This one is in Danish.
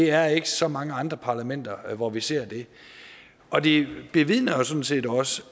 er ikke så mange andre parlamenter hvor vi ser det og det det vidner sådan set også